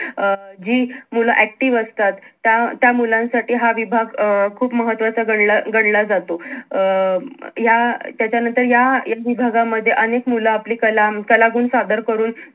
अं जी मूल active असतात त्या अं त्या मुलांसाठी हा विभाग अं खूप महत्वाचा गणला गणला जातो अं म या त्याच्यानंतर या विभागामध्ये अनेक मूल आपली कला कलागुण सादर करून